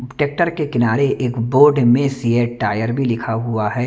Tractor के किनारे एक बोर्ड में सिएट टायर भी लिखा हुआ है।